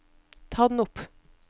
ta den opp